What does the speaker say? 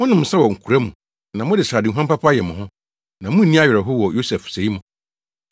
Monom nsa wɔ nkora mu na mode sradehuam papa yɛ mo ho, na munni awerɛhow wɔ Yosef sɛe ho.